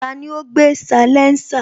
Tani ó gbé salénsà?